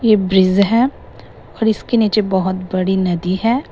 यह ब्रिज है और इसके नीचे बहोत बड़ी नदी है।